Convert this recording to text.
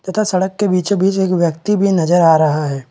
तथा सड़क के बीचो-बिच एक व्यक्ति भी नज़र आ रहा है।